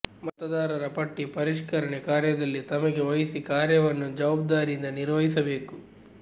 ಮತದಾರರ ಪಟ್ಟಿ ಪರಿಷ್ಕರಣೆ ಕಾರ್ಯದಲ್ಲಿ ತಮಗೆ ವಹಿಸಿ ಕಾರ್ಯವನ್ನು ಜವಾಬ್ದಾರಿಯಿಂದ ನಿರ್ವಹಿಸಬೇಕು